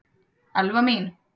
Elfa mín!